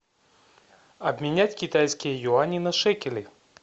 обменять китайские юани на шекели